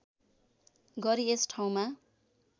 गरी यस ठाउँमा